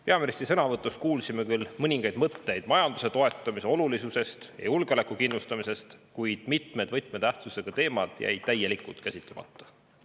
Peaministri sõnavõtust kuulsime küll mõningaid mõtteid majanduse toetamise olulisusest ja julgeoleku kindlustamisest, kuid mitmed võtmetähtsusega teemad jäid täielikult käsitlemata.